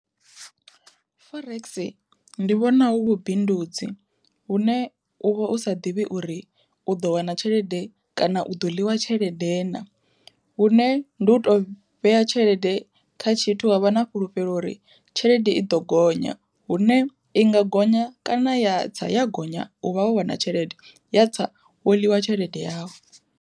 Forex ndi vhona hu vhu bindudzi hune uvha u sa ḓivhi uri u ḓo wana tshelede kana u ḓo ḽiwa tshelede na, hune ndi u to vhea tshelede kha tshithu wavha na fhulufhelo uri tshelede i ḓo gonya hune i nga gonya kana ya tsa ya gonya u vha wo wana tshelede ya tsa wo ḽiwa tshelede yau.